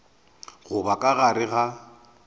go ba ka gare ga